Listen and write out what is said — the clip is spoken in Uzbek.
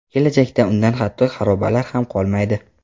kelajakda undan hatto xarobalar ham qolmaydi.